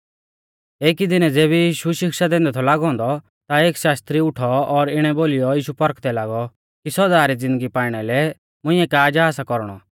एकी दिनै ज़ेबी यीशु शिक्षा दैंदै थौ लागौ औन्दौ ता एक शास्त्री उठौ और इणै बोलीयौ यीशु पौरखदै लागौ कि सौदा री ज़िन्दगी पाइणा लै मुंइऐ का जा सा कौरणौ